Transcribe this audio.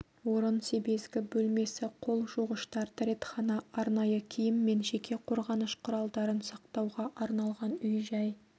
орын себезгі бөлмесі қол жуғыштар дәретхана арнайы киім мен жеке қорғаныш құралдарын сақтауға арналған үй-жай